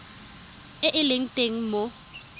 e e leng teng mo